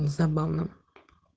забавно